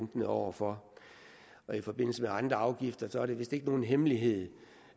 lunkne over for og i forbindelse med andre afgifter er det vist ikke nogen hemmelighed